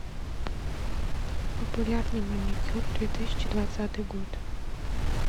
популярный маникюр две тысячи двадцатый год